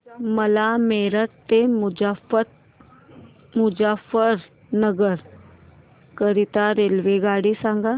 मला मेरठ ते मुजफ्फरनगर करीता रेल्वेगाडी सांगा